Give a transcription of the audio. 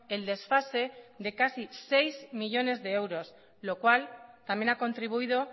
el desfase de casi seis millónes de euros lo cual también ha contribuido